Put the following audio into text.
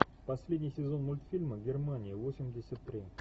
последний сезон мультфильма германия восемьдесят три